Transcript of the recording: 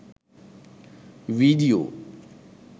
video